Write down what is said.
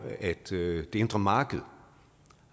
at det indre marked